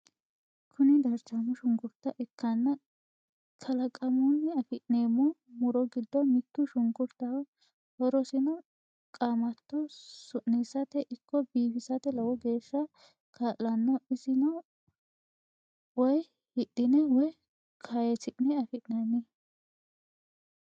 Kuni darchaamo shunkurta ikkanna qalaqamunni afi'neemmo muro giddo mittu shunkurtaho. horosino qaamatto su'nisate ikko biifisate lowo geeshsa kaa'lanno. isono woy hidhine woy kayisi'ne afi'nanni.